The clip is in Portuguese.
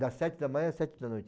Das sete da manhã às sete da noite.